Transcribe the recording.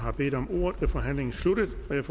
man